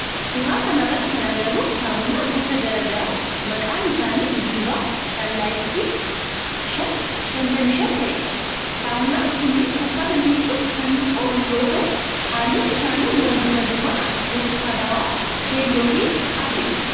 suuraa kana irratti kan agarru saamunaa gosa garaa garaa maqaan isaanii Diva, sunlight fi 555 ta'edha. saamunaan kunneen uffata miiccuuf kan oolu yoo ta'u halluun isaanii walduraa duuban burtukaanawaa, keelloo fi adiidha.